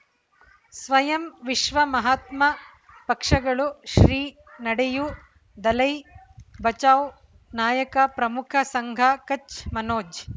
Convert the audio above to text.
ಸ್ವಯಂ ವಿಶ್ವ ಮಹಾತ್ಮ ಪಕ್ಷಗಳು ಶ್ರೀ ನಡೆಯೂ ದಲೈ ಬಚೌ ನಾಯಕ ಪ್ರಮುಖ ಸಂಘ ಕಚ್ ಮನೋಜ್